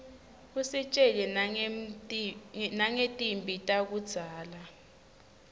usitjela nangetimphi takudzala